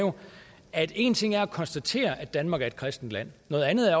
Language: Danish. at én ting er at konstatere at danmark er et kristent land noget andet